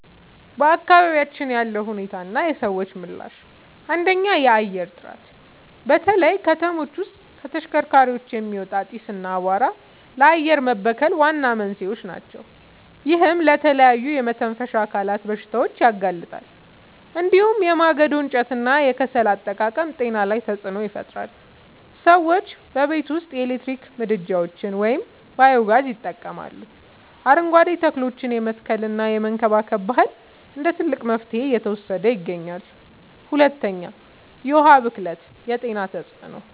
በአካባቢያችን ያለው ሁኔታና የሰዎች ምላሽ፦ 1. የአየር ጥራት፦ በተለይ ከተሞች ውስጥ ከተሽከርካሪዎች የሚወጣ ጢስ እና አቧራ ለአየር መበከል ዋና መንስኤዎች ናቸው። ይህም ለተለያዩ የመተንፈሻ አካላት በሽታዎች ያጋልጣል። እንዲሁም የማገዶ እንጨትና የከሰል አጠቃቀም ጤና ላይ ተጽዕኖ ይፈጥራል። ሰዎችም በቤት ውስጥ የኤሌክትሪክ ምድጃዎችን ወይም ባዮ-ጋዝ ይጠቀማሉ፣ አረንጓዴ ተክሎችን የመትከልና የመንከባከብ ባህል እንደ ትልቅ መፍትሄ እየተወሰደ ይገኛል። 2. የዉሀ ብክለት የጤና ተጽዕኖ፦